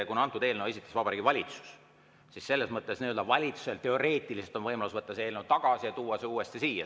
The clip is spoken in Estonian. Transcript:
Kuna antud eelnõu esitas Vabariigi Valitsus, siis valitsusel teoreetiliselt on võimalus võtta see eelnõu tagasi ja tuua see uuesti siia.